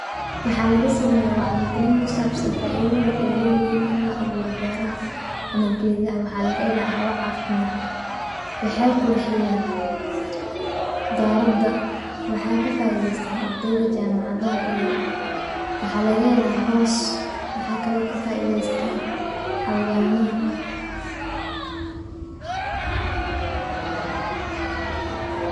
waxaa laga sameeya waxyi gelin kusabsan faidada ay leyihin in la abuuro beraha ama gedaha, waxaa laga hela hawa caafimad, waxay qurxiyan darada, waxa ka faideystan ardeyda jaamacadaha iyo, waxaa laga helaa hoos, waxaa kale oo ka faideystan xawayaamaha